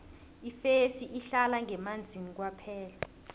ifesi ihlala ngemanzini kwaphela